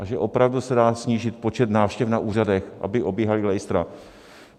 A že opravdu se dá snížit počet návštěv na úřadech, aby obíhala lejstra.